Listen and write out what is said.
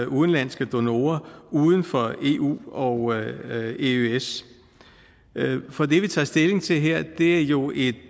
udenlandske donorer uden for eu og eøs for det vi tager stilling til her er jo et